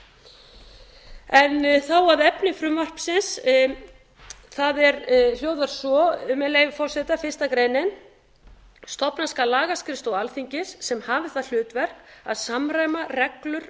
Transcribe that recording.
eða önnur lög þá að efni frumvarpsins það hljóðar svo með leyfi forseta fyrsta grein stofna skal lagaskrifstofu alþingis sem hafi það hlutverk að samræma reglur